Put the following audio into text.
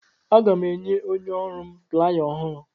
Aga m enye onye ọrụ m playa ọhụrụ.